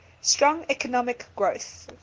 strong economic growth